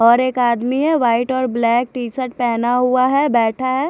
और एक आदमी है वाइट और ब्लैक टी शर्ट पहना हुआ है बेठा है।